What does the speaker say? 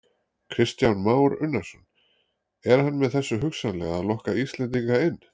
Kristján Már Unnarsson: Er hann með þessu hugsanlega að lokka Íslendinga inn?